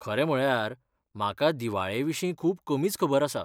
खरें म्हळ्यार, म्हाका दिवाळेविशीं खूब कमीच खबर आसा.